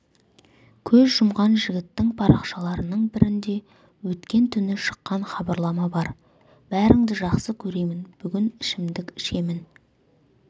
көз жұмған жігіттің парақшаларының бірінде өткен түні шыққан хабарлама бар бәріңді жақсы көремін бүгін ішімдік ішемін